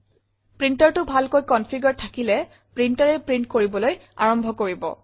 Printerটো ভালকৈ কনফিগাৰে থাকিলে printerএ প্ৰিণ্ট কৰিবলৈ আৰম্ভ কৰিব